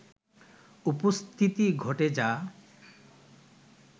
উপস্থিতি ঘটে যা